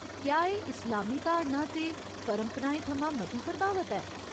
क्या एह् इस्लामी धारणां ते परंपराएं थमां मती प्रभावत ऐ ?